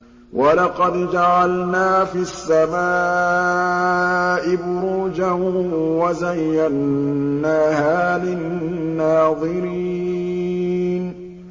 وَلَقَدْ جَعَلْنَا فِي السَّمَاءِ بُرُوجًا وَزَيَّنَّاهَا لِلنَّاظِرِينَ